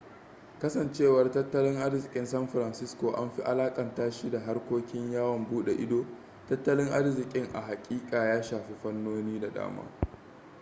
kasancewar tattalin arzikin san francisco an fi alakanta shi da harkokin yawon bude ido tattalin arzikin a hakika ya shafi fannoni da dama